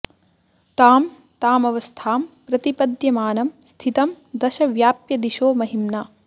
तां तामवस्थां प्रतिपद्यमानं स्थितं दश व्याप्य दिशो महिम्ना